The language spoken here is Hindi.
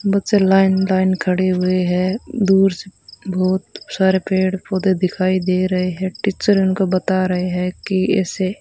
बच्चे लाइन लाइन खड़े हुए हैं दूर से बहोत सारे पेड़ पौधे दिखाई दे रहे हैं टीचर उनको बता रहे हैं कि ऐसे --